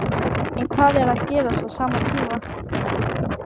En hvað er að gerast á sama tíma?